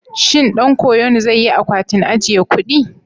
Shin ɗan koyon zai yi akwatin ajiye kuɗi?